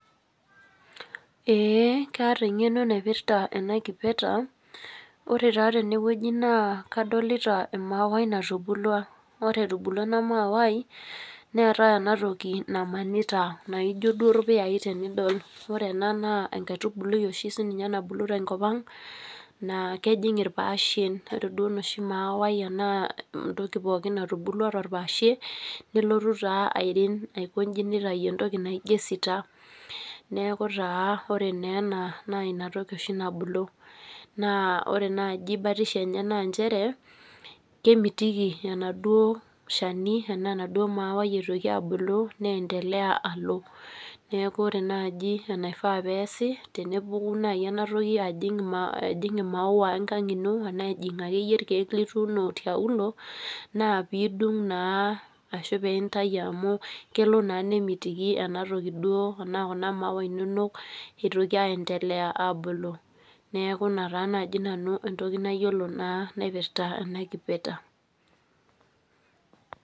Kaata engeno naipirta ena kipeta ,ore taa teneweji naa kadolita emauwai natubulua .Ore etubulua ena mauwai neeta enatoki namanita naijo duo irpuyai, ore ena naa enkaitubului oshi nabulu siininye tenkopang, naa kejing irpaashen ,ore duo enoshi toki pookin natubulua torpaashe nelotu naa airing aikonji nitayu entoki naijo esita .Neeku taa ore naa ena naa inatoki oshi nabulu ,naa ore naaji batisho enye naa nchere kemitiki enaduo shani enaa enaduo mauwai eitoki abulu neendelea alo .Neeku ore naaji enaifaa pee eesi tenebulu naaji enatoki ajing mauwa enkang ino, enaa ejingu akeyie irkeek lotuuno tiauluo, naa pidung naa ashu intayu amu kemiti naa Kuna mauwa inonok eitoki aendelea abulu. Neeku ina taa naaji nanu entoki nayiolo naipirta ena kipeta.